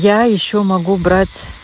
я ещё могу брать